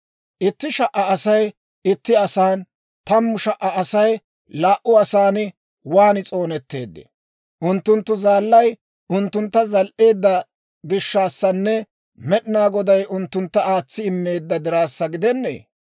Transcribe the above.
Itti sha"a Asay itti asan, tammu sha"a Asay laa"u asan, waan s'oonetteedee? Unttunttu Zaallay unttuntta zal"eedda gishshaassanne Med'inaa Goday unttuntta aatsi immeedda diraassa gidennee!